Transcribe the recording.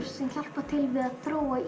sem hjálpar til við að þróa